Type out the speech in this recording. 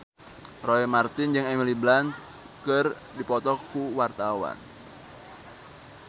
Roy Marten jeung Emily Blunt keur dipoto ku wartawan